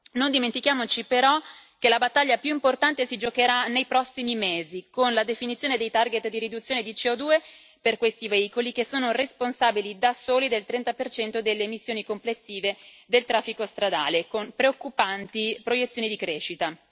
Non dimentichiamoci però che la battaglia più importante si giocherà nei prossimi mesi, con la definizione dei target di riduzione di CO2 per questi veicoli che sono responsabili da soli del 30 delle emissioni complessive del traffico stradale con preoccupanti proiezioni di crescita.